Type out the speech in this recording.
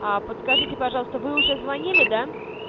подскажите пожалуйста вы уже звонили да